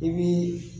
I bi